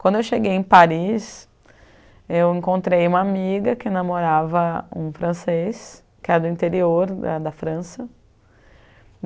Quando eu cheguei em Paris, eu encontrei uma amiga que namorava um francês, que era do interior da França.